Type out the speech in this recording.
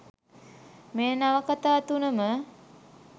මේ නවකතා තුනම